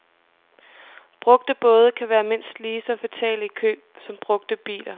Brugte både kan være mindst lige så fatale i køb som brugte biler.